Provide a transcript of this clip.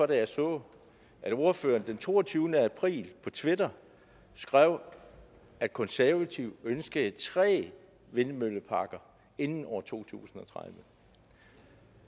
jeg så at ordføreren den toogtyvende april på twitter skrev at konservative ønskede tre vindmølleparker inden to tusind og tredive